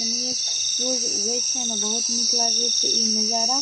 एनेये सूर्य उगे छै एमें बहुत निक लागे छै इ नजारा।